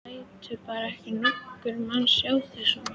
Þú lætur bara ekki nokkurn mann sjá þig svona.